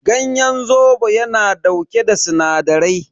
Ganyen zobo yana dauke da sinadarai.